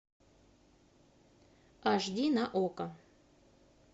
аш ди на окко